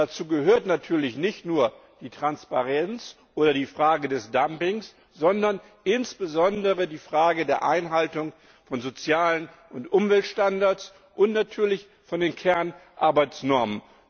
Dazu gehört natürlich nicht nur die Transparenz oder die Frage des Dumpings, sondern insbesondere die Frage der Einhaltung von sozialen und Umweltstandards und natürlich der Kernarbeitsnormen.